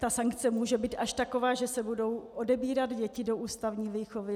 Zda sankce může být až taková, že se budou odebírat děti do ústavní výchovy.